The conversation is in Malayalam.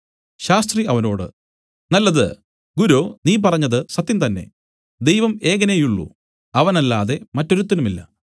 ശാസ്ത്രി അവനോട് നല്ലത് ഗുരോ നീ പറഞ്ഞത് സത്യംതന്നേ ദൈവം ഏകനേയുള്ളൂ അവനല്ലാതെ മറ്റൊരുത്തനുമില്ല